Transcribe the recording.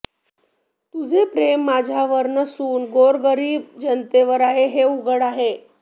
तुझे प्रेम माझ्यावर नसून गोरगरीब जनतेवर आहे हे उघड आहे